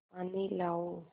पानी लाओ